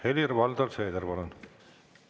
Helir-Valdor Seeder, palun!